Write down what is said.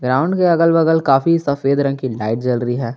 Ground के अगल बगल काफी सफेद रंग की लाइट जल रही है।